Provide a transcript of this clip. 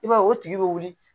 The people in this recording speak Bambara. I b'a ye o tigi be wuli